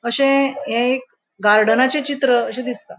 अशे हे एक गार्डेनाचे चित्र अशे दिसता.